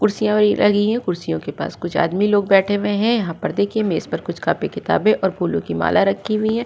कुर्सियाँ लगी है। कुर्सियों के पास कुछ आदमी लोग बैठे हुए हैं। यहां पर देखिए मेज पर कुछ कॉपी किताबें और फूलों की माला रखी हुई है।